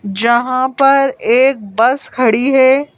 जहाँ पर एक बस खड़ी है।